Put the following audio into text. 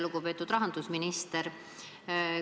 Lugupeetud rahandusminister!